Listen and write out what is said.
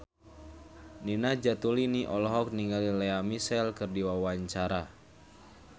Nina Zatulini olohok ningali Lea Michele keur diwawancara